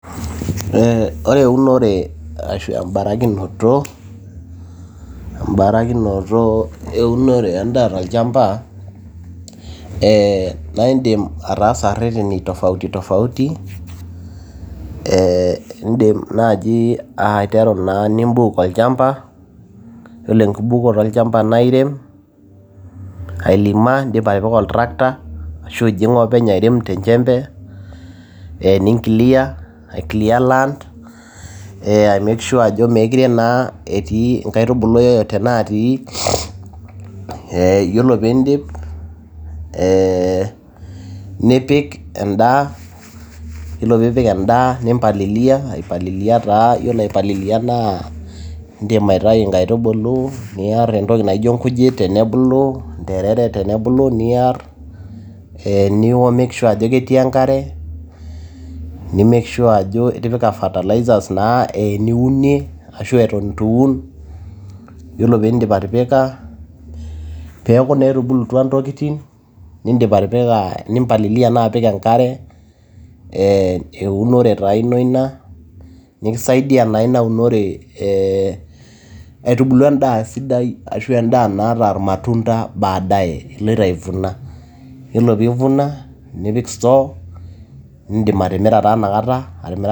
Ore eunore ashu embara kinoto eunoreendaa tolchamba, naa iidim ataasa ireteni tofauti tofauti, idim ann ananji nibuk olchamba, iyiolo enkibuk noto olchamba naa irem, ailima idipa atipika altractor, ashu ijing' openy airem tenjembe, ninclear aclear land, aimeke shure ajo meekure etii inkaitubulu yeyote naatii. Iyiolo pee idip, nipik endaa, iyiolo pee ipik endaa nimpalilia idim aitayu inkaitubulu niar entoki naijo inkujit tenebulu, interere tenebulu niar, nimake sure ajo ketii enkare, ni make sure ajo itipika fertiliser naa eniunie ashu eton itu un iyiolo pee idip atipika, pee eku naa etubulutwa intokiting' nimpalilia naa apik enkare eunore taa ino ina nikisaidia naa ina unore aitubulu endaa sidai ashu endaa naata ilmatunda baadaye, iloto aivuna, iyiolo peivuna nipik store nidim atimira taa inakata.